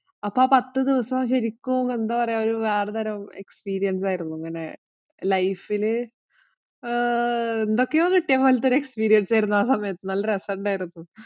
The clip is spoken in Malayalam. അപ്പൊ ആ പത്തു ദിവസവും ശരിക്കും എന്താ പറയുക ഒരു വേറെ തരം ആരുന്നു. ഇങ്ങനെ ആഹ് എന്തൊക്കെയോ കിട്ടിയ പോലത്തെ ആ സമയത്ത്. നല്ല രസമുണ്ടാരുന്നു.